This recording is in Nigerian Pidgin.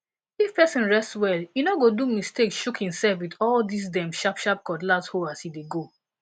if person rest well e no go do mistake shook himself with all these dem sharp sharp cutlass hoe as e dey go